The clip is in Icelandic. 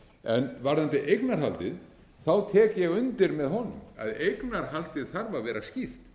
en varðandi eignarhaldið tek ég undir með honum að það þarf að vera skýrt